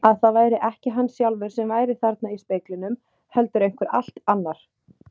Að það væri ekki hann sjálfur sem væri þarna í speglinum heldur einhver allt annar.